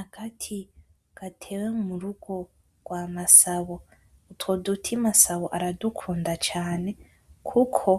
Agati gatewe murugo rwa Masabo , utwo duti Masabo aradukunda cane kuko